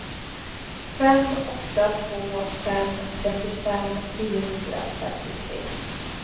fem åtta två fem trettiofem niohundrafemtiotre